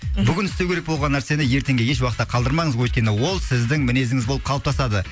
бүгін істеу керек болған нәрсені ертеңге еш уақытта қалдырмаңыз өйткені ол сіздің мінезіңіз болып қалыптасады